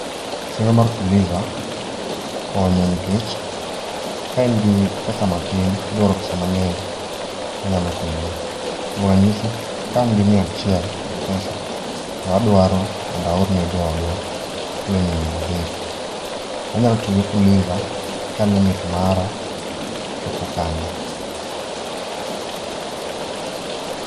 Chenro mar Fuliza konyo nikech ka in gi pesa matin tidwaro pesa mangeny to inyalo konyori. Kuom ranyisi kain gi mia achiel e Mpesa to adwaro mondo aor ne joodwa siling mia adek to anyalo tiyo gi Fuliza ka limit na chopo kanyo